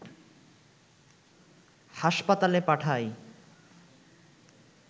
হাসপাতালে পাঠায়